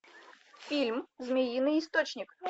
фильм змеиный источник